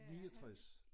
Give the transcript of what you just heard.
69